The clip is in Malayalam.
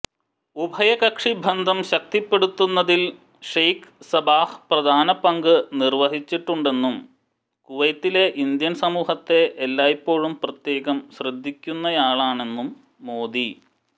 ഉഭയകക്ഷി ബന്ധം ശക്തിപ്പെടുത്തുന്നതിൽ ഷേഖ് സബാഹ് പ്രധാന പങ്ക് വഹിച്ചിട്ടുണ്ടെന്നും കുവൈത്തിലെ ഇന്ത്യൻ സമൂഹത്തെ എല്ലായ്പ്പോഴും പ്രത്യേകം ശ്രദ്ധിക്കുന്നയാളാണെന്നും മോദി